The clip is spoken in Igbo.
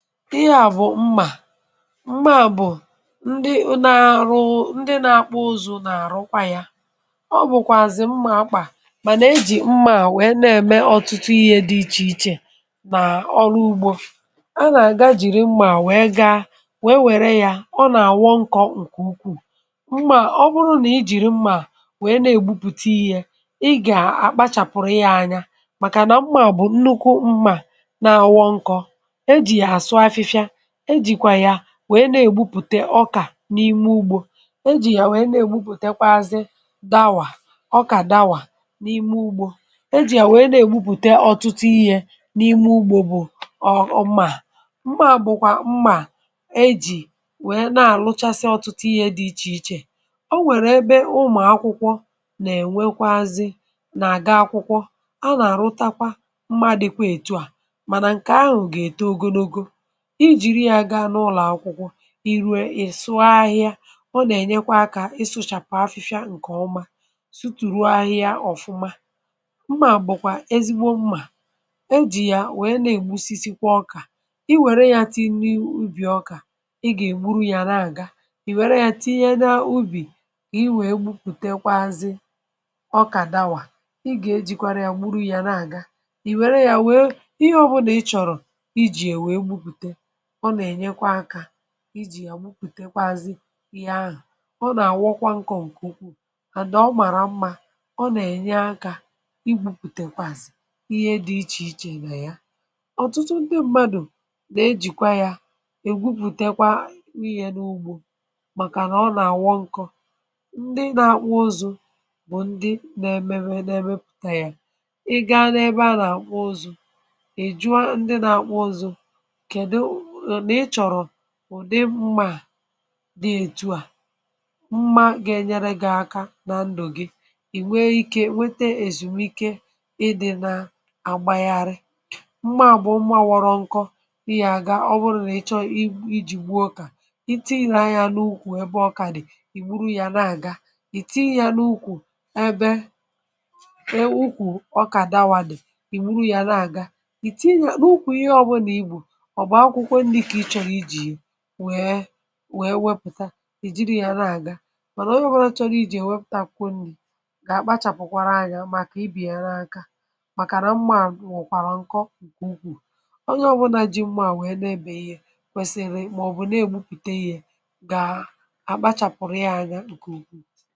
mmȧ bụ̀ ndị nȧ-ȧrụ̇ ndị nȧ-ȧkpụ̇ ụzọ̇ nà-àrụkwa yȧ ọ bụ̀kwà àzị̀ mmȧ akpà mànà ejì mmȧ wèe na-ème ọ̀tụtụ ihė dị ichè ichè nà ọrụ ugbȯ a nà-àgajìrì mmȧ wèe gaa wèe wère yȧ ọ nà-àwọ nkọ̇ ǹkè ukwuù mmȧ ọ bụrụ nà ijìrì mmȧ wèe na-ègbupùte ihe ị gà-àkpachàpụrụ ya anya màkà nà mmȧ bụ̀ nnukwu mmȧ na-àwọ nkọ̇ e jìkwà ya wèe na-ègbupùte ọkà n’ime ugbȯ e jì ya wèe na-ègbupùte kwa azị gawà ọkà dawa n’ime ugbȯ e jì ya wèe na-ègbupùte ọ̀tụtụ ihė n’ime ugbȯ bù ọ̀ ọ̀ mmà bụ̀kwà mmà e jì wèe na-àlụchasị ọ̀tụtụ ihė dị̇ ichè ichè o nwèrè ebe ụmụ̀ akwụkwọ nà-ènwe kwa azị nà-àga akwụkwọ a nà-àrụtakwa mmȧ dịkwa ètù à mànà ǹkè ahụ̀ gà-ète ogonogo i jiri ya gaa n’ụlọ̀akwụkwọ i ruo ị sụ ahịa ọ nà-ènyekwa akȧ ị sụchàpụ̀ afịfịa ǹkè ọma sụtụ̀ ruo ahịa ọ̀fụma mmà bụ̀kwà ezigbo mmà ejì ya wèe na-ègusisi kwa ọkà i wère ya tinye n’ubì ọkà ị gà-ègburu ya na-àga ì wère ya tinye n’ubì i wèe gwupùtekwazi ọkà dàwà ị gà-ejìkwara ya wuru ya na-àga ì wère ya wèe ihe ọbụnà ị chọ̀rọ̀ ijì yà wupùtekwa azị ya ahụ̀ ọ nà-àwakwa nkọ̀ ǹkè ukwuu àdì ọ màrà mmȧ ọ nà-ènye akȧ ibupùtekwa àzị̀ ihe dị̇ ichè ichè nà ya ọ̀tụtụ ndị mmadụ̀ nà-ejìkwa yȧ ègwupùtekwa wịnyẹ n’ugbȯ màkànà ọ nà-àwọ nkọ ndị nȧ-àkpụ ụzụ̇ bụ̀ ndị nȧ-ẹmẹpụta yȧ ị gȧ ebe a nà-àkpụ ụzụ̇ ùdi mmȧ di-etu à mmȧ ga-enyere gị̇ aka nà ndụ̀ gị ì nwee ikė nwete ezumike ịdị̇ na-agbàghàrị̇ mmȧ bụ̀ mmȧ wọrọ nkọ ịyà ga ọ bụrụ nà ị chọọ i ji̇ gbuo okà iti nà ya n’ukwù ebe ọ kà dị̀ ì wuru ya na-àga ị̀ tinye ya n’ukwù ebe e ukwù ọkà dàwàdị̀ ị̀ wuru ya na-àga ị̀ tinye ya n’ukwù ihe ọbụlà ị gbụ̀ nwèe nwèe wepụ̀ta ì jiri yȧ na-àga bụ̀ nà onye ọ̀bụla chọrọ iji̇ èwepụtakwunyì gà-àkpachàpụ̀kwara anyȧ màkà ịbị̀ yà na-aka màkàra mmȧ nwòkwàrà ǹkọ ǹkè ukwuù onye ọ̀bụna ji mmȧ nwee na-ebeghi yȧ kwesiri màọ̀bụ̀ na-egbupùte gi̇ yȧ gà-àkpachàpụ̀rụ̀ ya anya ǹkè ukwuù